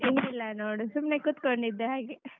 ಏನಿಲ್ಲ ನೋಡ್ ಸುಮ್ನೆ ಕುಂತ್ಕೊಂಡಿದ್ದೆ ಹಾಗೇ.